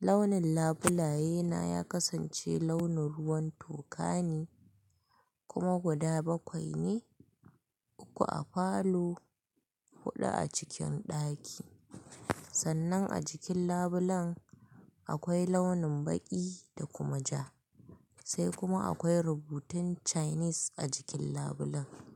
Launin labulaye na ya kasance launin ruwan toka ne kuma guda bakwai ne, uku a falo, huɗu a cikin ɗaki. Sannan a jikin labulen akwai launin baƙi da kuma ja. Sai kuma akwai rubutun Chinese a jikin labulen.